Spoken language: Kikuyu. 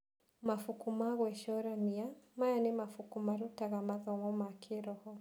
Mabuku ma gwĩcũrania: Maya nĩ mabuku marũtaga mathomo ma kĩroho.